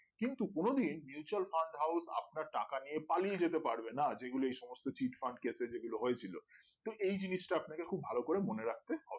কিন্তু কোনোদিন mutual fund house আপনার টাকা নিয়ে পালিয়ে যেতে পারবে না যেগুলো এইসমস্ত চিটফান্ট কেস এ যেগুলো হয়েছিল তো এই জিনিসটা আপনাকে খুব ভালো করে মনে রাখতে হবে